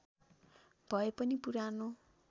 भए पनि पुरानो